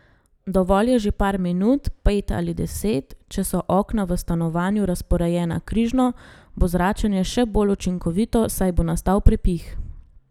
Dovolj je že par minut, pet ali deset, če so okna v stanovanju razporejena križno, bo zračenje še bolj učinkovito, saj bo nastal prepih.